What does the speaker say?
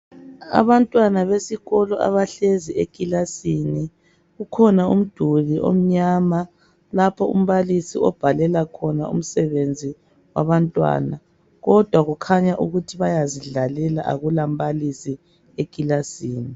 Abantwana besikolo abahlezi ekilasini kukhona umduli omnyama lapho umbalisi obhalela khona umsebenzi wabantwana kodwa kukhanya ukuthi bayazidlalela akulambalisi ekilasini.